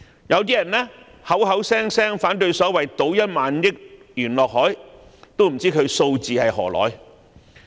有人口口聲聲反對所謂"倒1萬億元落海"，我不知道他們的數字從何而來。